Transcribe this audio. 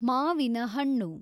ಮಾವಿನ ಹಣ್ಣು